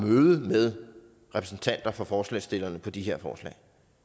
møde med repræsentanter for forslagsstillerne til de her forslag